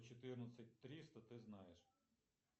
окончание неправильно там падежи